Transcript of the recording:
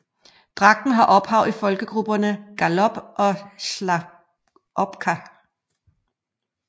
Dragten har ophav i folkegrupperne Ngalop og Sharchopka